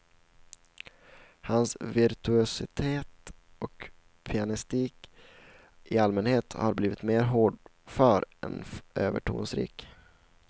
Hans virtuositet och pianistik i allmänhet har blivit mer hårdför än övertonsrik.